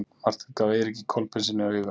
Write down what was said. Marteinn gaf Eiríki Kolbeinssyni auga.